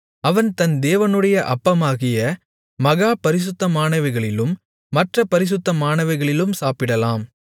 அவன் தன் தேவனுடைய அப்பமாகிய மகா பரிசுத்தமானவைகளிலும் மற்ற பரிசுத்தமானவைகளிலும் சாப்பிடலாம்